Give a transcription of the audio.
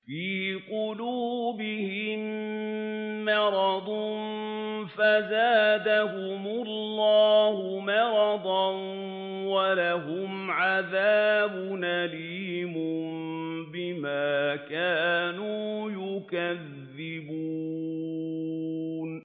فِي قُلُوبِهِم مَّرَضٌ فَزَادَهُمُ اللَّهُ مَرَضًا ۖ وَلَهُمْ عَذَابٌ أَلِيمٌ بِمَا كَانُوا يَكْذِبُونَ